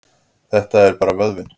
Þetta er bara vöðvinn.